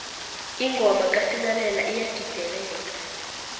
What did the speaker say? ingoma kasinghalela iyagideleka